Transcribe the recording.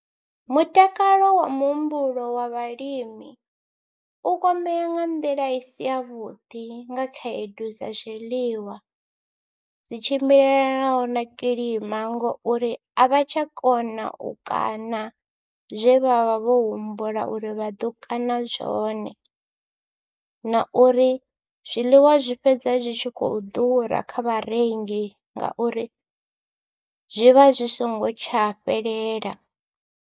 Mutakalo wa muhumbulo wa vhalimi u kwamea nga nḓila i si yavhuḓi nga khaedu dza zwiḽiwa, dzi tshimbilelanaho na kilima ngo uri a vha tsha kona u kaṋa zwe vha vha vho humbula uri vha ḓo kaṋa zwone, na uri zwiḽiwa zwi fhedza zwi tshi khou ḓura kha vharengi ngauri zwi vha zwi songo tsha fhelela.